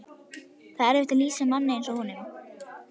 Það er erfitt að lýsa manni eins og honum.